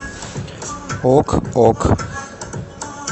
ок ок